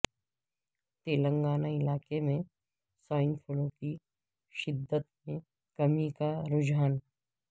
تلنگانہ علاقے میں swine flu کی شدت میں کمی کا رجحان